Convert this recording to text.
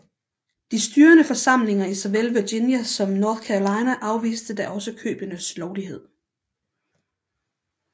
De styrende forsamlinger i såvel Virginia som North Carolina afviste da også købenes lovlighed